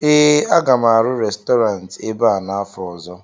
ee, a ga m arụ Restọrantị ebe a n'afọ ọzọ